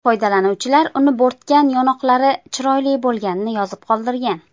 Foydalanuvchilar uni bo‘rtgan yonoqlari chiroyli bo‘lganini yozib qoldirgan.